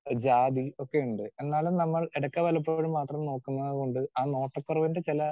Speaker 2 ജാതി ഒക്കെയുണ്ട്. എന്നാലും നമ്മൾ എടയ്ക്ക് വല്ലപ്പോഴും മാത്രം നോക്കുന്നതുകൊണ്ട് ആ നോട്ട് കുറവിന്റെ ചെല